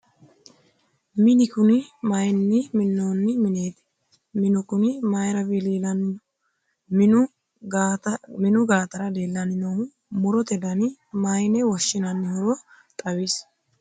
mini kuni mayiinni minnoonni mineeti? minu kuni mayiira wiliilanni no? minu gaatara leellanni noohu murote dani mayiine woshshinannihoro xawisi ?